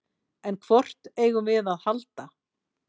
En hvort eigum við að halda?